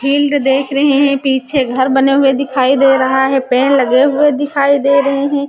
Heeled देख रहे हैं पीछे घर बने हुए दिखाई दे रहा है पेड़ लगे हुए दिखाई दे रहे हैं।